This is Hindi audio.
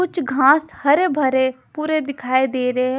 कुछ घास हरे भरे पूरे दिखाई दे रहे है।